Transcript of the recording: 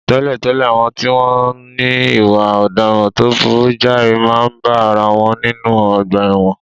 Tẹ́lẹ̀tẹ́lẹ̀, àwọn tí wọ́n ní ìwà ọ̀daràn tó burú jáì máa ń bá ara wọn nínú ọgbà ẹ̀wọ̀n